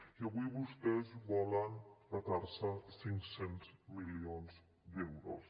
i avui vostès volen petar se cinc cents milions d’euros